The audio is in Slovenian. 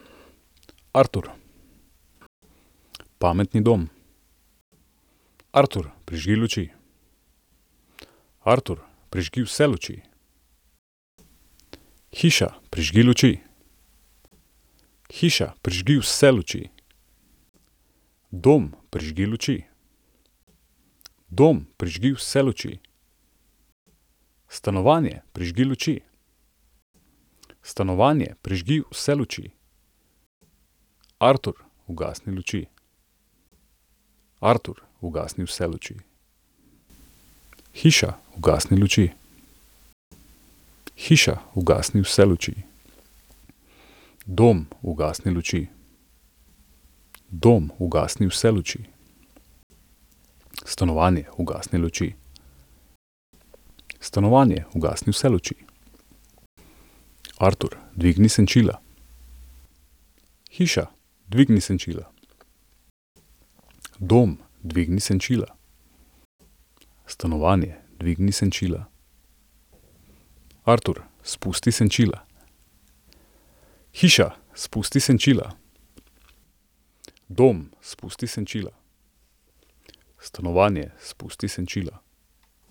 Artur. Pametni dom. Artur, prižgi luči. Artur, prižgi vse luči. Hiša, prižgi luči. Hiša, prižgi vse luči. Dom, prižgi luči. Dom, prižgi vse luči. Stanovanje, prižgi luči. Stanovanje, prižgi vse luči. Artur, ugasni luči. Artur, ugasni vse luči. Hiša, ugasni luči. Hiša, ugasni vse luči. Dom, ugasni luči. Dom, ugasni vse luči. Stanovanje, ugasni luči. Stanovanje, ugasni vse luči. Artur, dvigni senčila. Hiša, dvigni senčila. Dom, dvigni senčila. Stanovanje, dvigni senčila. Artur, spusti senčila. Hiša, spusti senčila. Dom, spusti senčila. Stanovanje, spusti senčila.